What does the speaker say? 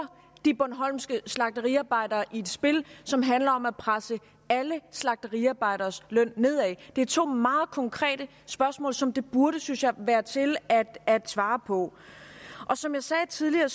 de bornholmske slagteriarbejdere i et spil som handler om at presse alle slagteriarbejderes løn nedad det er to meget konkrete spørgsmål som det burde synes jeg være til at at svare på som jeg sagde tidligere